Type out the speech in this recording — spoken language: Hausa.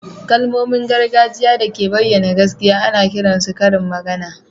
Kalmomin gargajiya da ke bayyana gaskiya ana kiran su karin magana